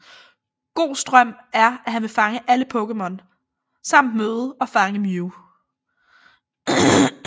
Gohs drøm er at han vil fange alle Pokémon samt møde og fange Mew